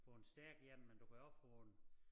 Få en stærk én men du kan også få en